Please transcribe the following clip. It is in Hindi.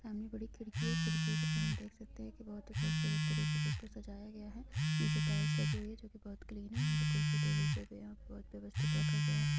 सामने बड़ी खिड़की है खिड़की है सामने देख सकते है के बहुत है खूबसूरत तरीके से इसको सजाया गया है नीचे टाइल्स लागि हुई है जो की भोत ग्रीन है कुर्सी टेबल भी यहाँ बहोत व्यवस्तित रहा गया है।